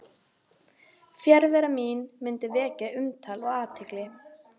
Og samt var það engin von heldur miklu fremur tálsýn.